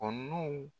Kɔnɔnaw